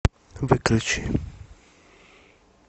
выключи